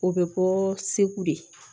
O bɛ bɔ segu de